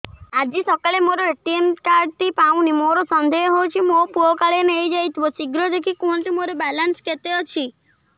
ଆଜି ସକାଳେ ମୋର ଏ.ଟି.ଏମ୍ କାର୍ଡ ଟି ପାଉନି ମୋର ସନ୍ଦେହ ହଉଚି ମୋ ପୁଅ କାଳେ ନେଇଯାଇଥିବ ଶୀଘ୍ର ଦେଖି କୁହନ୍ତୁ ମୋର ବାଲାନ୍ସ କେତେ ଅଛି